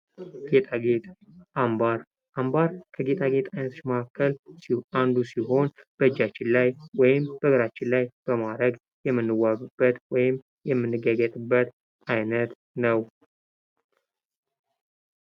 ጌጣጌጥ፦ አምባር፦ አምባር ከጌጣጌጥ አይነቶች መካከል አንዱ ሲሆን በእጃችን ላይ ወይም በእግራችን ላይ በማድረው የምንዋበበት ወይም የምንጊያጊያጥበት አይነት ነው።